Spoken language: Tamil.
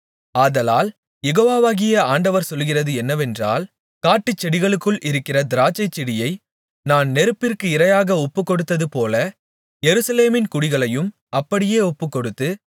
ஆதலால் யெகோவாகிய ஆண்டவர் சொல்லுகிறது என்னவென்றால் காட்டுச்செடிகளுக்குள் இருக்கிற திராட்சைச்செடியை நான் நெருப்பிற்கு இரையாக ஒப்புக்கொடுத்ததுபோல எருசலேமின் குடிகளையும் அப்படியே ஒப்புக்கொடுத்து